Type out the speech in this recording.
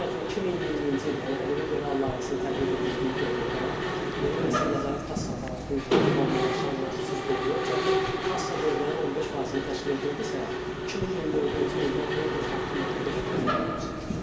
Məsəl üçün 2020-ci il, yəni ƏDV geri al layihəsinin tətbiq edildiyi dövrdə yeni nəsil nəzarət kassa aparatı üzrə formalaşan nağdsız dövriyyə cəmi kassa dövriyyəsinin 15%-ni təşkil edirdisə, 2024-cü ildə bu 46.5%-ə qədər yüksəlmişdir.